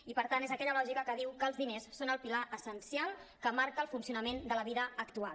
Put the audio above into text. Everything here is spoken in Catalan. i per tant és aquella lògica que diu que els diners són el pilar essencial que marca el funcionament de la vida actual